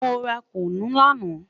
Mo ra kunu lana